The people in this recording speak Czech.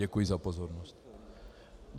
Děkuji za pozornost.